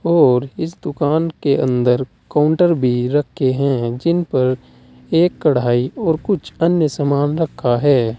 और इस दुकान के अंदर काउंटर भी रखे हैं जिन पर एक कढ़ाई और कुछ अन्य सामान रखा है।